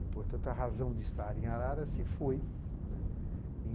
E, portanto, a razão de estar em Arara se foi, né.